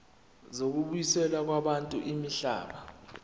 zokubuyiselwa kwabantu imihlaba